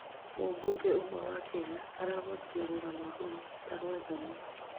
mũbũnge ũmwe wa Kenya aragwetire rũgano 'rũu ta rwa thoni'